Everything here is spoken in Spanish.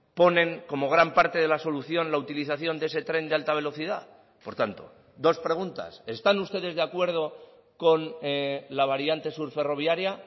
ponen como gran parte de la solución la utilización de ese tren de alta velocidad por tanto dos preguntas están ustedes de acuerdo con la variante sur ferroviaria